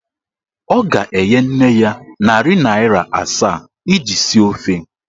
Ọ ga-enye nne ya narị naịra asaa iji sie ofe.